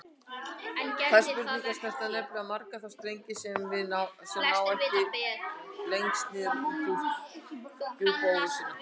Þær spurningar snerta nefnilega marga þá strengi sem ná hvað lengst niður í djúp óvissunnar.